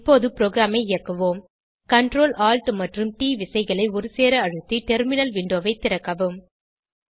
இப்பொது ப்ரோகிராமை இயக்குவோம் Ctrl Alt மற்றும் ட் விசைகளை ஒருசேர அழுத்தி டெர்மினல் விண்டோவை திறக்கவும்